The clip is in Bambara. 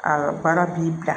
A ka baara b'i bila